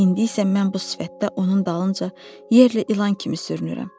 İndi isə mən bu sifətdə onun dalınca yerlə ilan kimi sürünürəm.